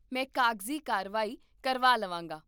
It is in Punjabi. ਮੈਂ ਕਾਗਜ਼ੀ ਕਾਰਵਾਈ ਕਰਵਾ ਲਵਾਂਗਾ